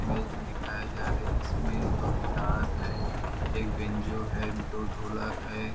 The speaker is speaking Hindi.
इमेज में दिखाया जा रहा है इसमें दो गिटार है एक बेन्जो है दो ढोलक है।